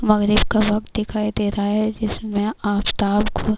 مغرب کا وقت دکھائی دے رہا ہے جیسمع افتاب ک۔.